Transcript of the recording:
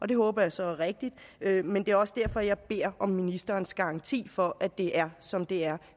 det håber jeg så er rigtigt men det er også derfor jeg beder om ministerens garanti for at det er som det er